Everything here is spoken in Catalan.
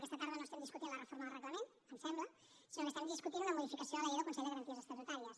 aquesta tarda no estem discutint la reforma del reglament em sembla sinó que estem discutint una modificació de la llei del consell de garanties estatutàries